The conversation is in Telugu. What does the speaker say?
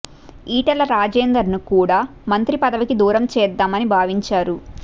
ఈటెల రాజేందర్ ను కూడా మంత్రి పదవికి దూరం చేద్దామని భావించారు